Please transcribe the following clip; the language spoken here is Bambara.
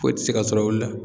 Foyi tɛ se ka sɔrɔ olu la.